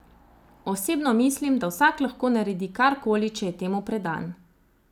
Osebno mislim, da vsak lahko naredi karkoli, če je temu predan.